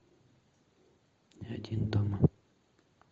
один дома